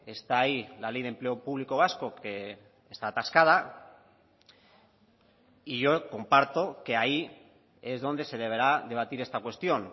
está ahí la ley de empleo público vasco que está atascada y yo comparto que ahí es donde se deberá debatir esta cuestión